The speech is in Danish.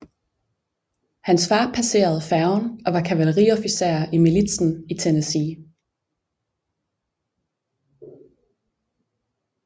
Hans far passede færgen og var kavaleriofficer i militsen i Tennessee